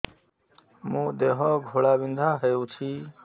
ମୋ ଦେହ ଘୋଳାବିନ୍ଧା ହେଉଛି